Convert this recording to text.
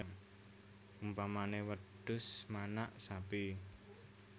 Umpamané wedhus manak sapi